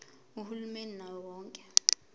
uhulumeni wawo wonke